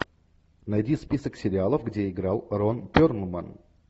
найди список сериалов где играл рон перлман